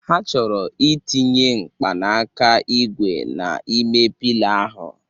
Ha chọrọ ị tinye mkpanaka ígwè n'ime Piila ahụ